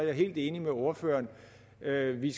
er helt enig med ordføreren i at vi